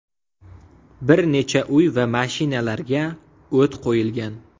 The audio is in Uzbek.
Bir necha uy va mashinalarga o‘t qo‘yilgan.